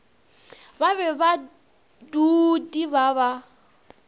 ba be baduudi ba ba